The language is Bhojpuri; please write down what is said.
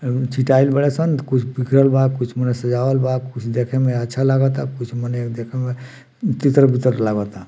अउ चिताई बाड़े सन कुछ बिखरल बा कुछ मने सजावल बा कुछ देखे में अच्छा लागता कुछ मने देखे म तितर-बितर लागोता।